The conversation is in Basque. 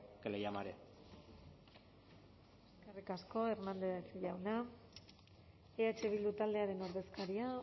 que le llamaré eskerrik asko hernández jauna eh bildu taldearen ordezkaria